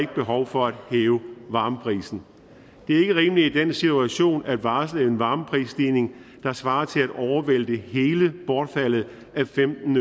behov for at hæve varmeprisen det er ikke rimeligt i den situation at varsle en varmeprisstigning der svarer til at overvælte hele bortfaldet af femten